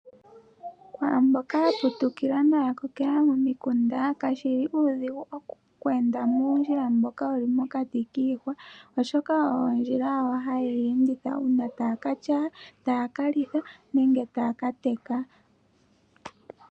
Kwaamboka ya putukila noya kokela momikunda kashili uudhigu oku enda muundjila mboka wuli mokati kiihwa, oshoka oyo ondjila yawo haye yi enditha uuna taya ka tyaya, taya ka litha nenge taya ka teka.